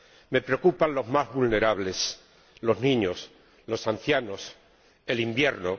Me preocupan los más vulnerables los niños, los ancianos y el invierno.